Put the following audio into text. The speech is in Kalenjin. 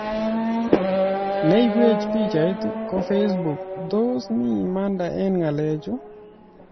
Neibwech pichait ko Facebook:Tos mii imanda eng ng'alechu?